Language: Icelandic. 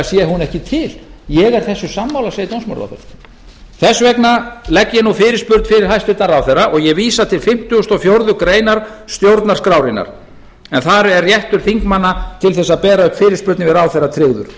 sé hún væntanlega ekki til ég er þessu sammála segir dómsmálaráðherra þess vegna legg ég fyrirspurn fyrir hæstvirtan ráðherra og ég vísa til fimmtugasta og fjórðu grein stjórnarskrárinnar en þar er réttur þingmanna til að bera upp fyrirspurn til ráðherra tryggður